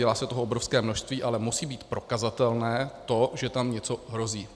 Dělá se toho obrovské množství, ale musí být prokazatelné to, že tam něco hrozí.